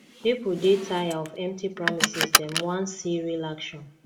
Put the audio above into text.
pipo dey tire of empty promises dem wan see real action